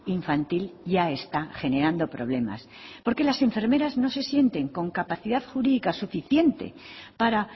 infantil ya está generando problemas porque las enfermeras no se sienten con capacidad jurídica suficiente para